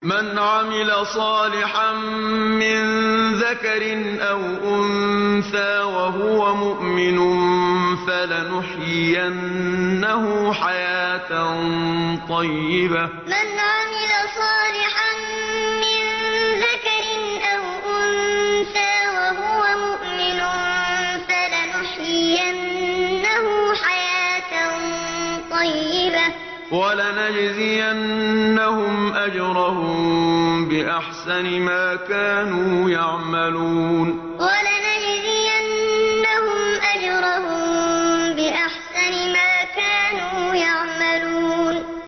مَنْ عَمِلَ صَالِحًا مِّن ذَكَرٍ أَوْ أُنثَىٰ وَهُوَ مُؤْمِنٌ فَلَنُحْيِيَنَّهُ حَيَاةً طَيِّبَةً ۖ وَلَنَجْزِيَنَّهُمْ أَجْرَهُم بِأَحْسَنِ مَا كَانُوا يَعْمَلُونَ مَنْ عَمِلَ صَالِحًا مِّن ذَكَرٍ أَوْ أُنثَىٰ وَهُوَ مُؤْمِنٌ فَلَنُحْيِيَنَّهُ حَيَاةً طَيِّبَةً ۖ وَلَنَجْزِيَنَّهُمْ أَجْرَهُم بِأَحْسَنِ مَا كَانُوا يَعْمَلُونَ